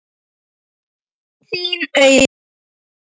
Þín, Auður.